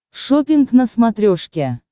шоппинг на смотрешке